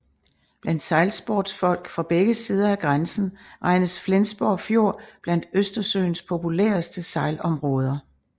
Blandt sejlsportsfolk fra begge sider af grænsen regnes Flensborg Fjord blandt Østersøens populæreste sejlområder